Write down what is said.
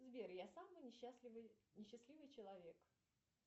сбер я самый несчастливый несчастливый человек